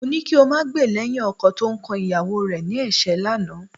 Mo ní kí o máa gbè lẹ́yìn ọkọ tó ń kan ìyàwó rẹ ní ẹ̀ṣẹ́ lánàá